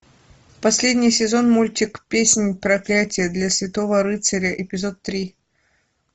последний сезон мультик песнь проклятия для святого рыцаря эпизод три